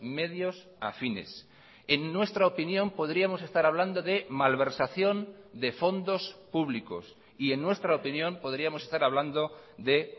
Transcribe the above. medios afines en nuestra opinión podríamos estar hablando de malversación de fondos públicos y en nuestra opinión podríamos estar hablando de